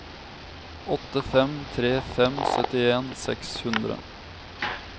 åtte fem tre fem syttien seks hundre